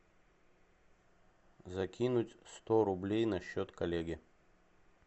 закинуть сто рублей на счет коллеге